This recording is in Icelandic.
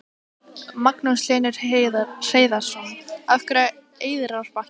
Magnús Hlynur Hreiðarsson: Af hverju Eyrarbakki?